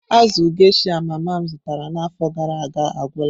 Azụ geysha mama m zụtara n'afọ gara aga agwụla.